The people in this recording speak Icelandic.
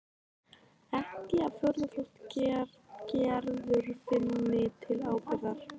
Ekki að furða þótt Gerður finni til ábyrgðar.